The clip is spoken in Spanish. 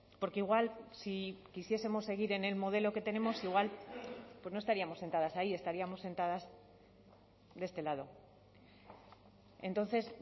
porque igual si quisiesemos seguir en el modelo que tenemos igual pues no estaríamos sentadas ahí estaríamos sentadas de este lado entonces